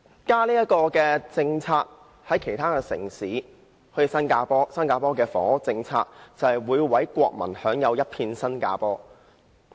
家的政策就是房屋政策，新加坡的房屋政策，就是讓每位國民享有一片新加坡。